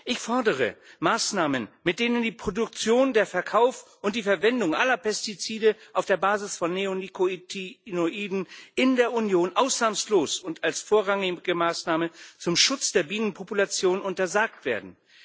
Ich fordere Maßnahmen, mit denen die Produktion, der Verkauf und die Verwendung aller Pestizide auf der Basis von Neonikotinoiden in der Union ausnahmslos und als vorrangige Maßnahme zum Schutz der Bienenpopulation untersagt werden.